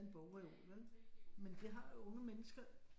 En bogreol vel men det har unge mennesker